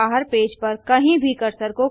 ध्यान दें कि कर्सर अब गूगल सर्च बार में है